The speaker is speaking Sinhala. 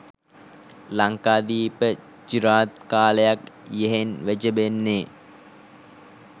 ලංකාදීප චිරාත් කාලයක් යෙහෙන් වැජඹෙන්නේ